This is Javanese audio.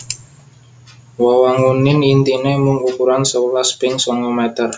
Wewangunan intine mung ukuran sewelas ping sanga meter